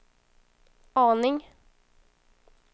aning